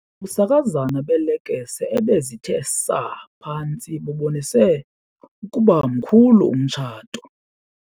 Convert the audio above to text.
Ubusakazane beelekese ebezithe saa phantsi bubonise ukuba mkhulu umtshato.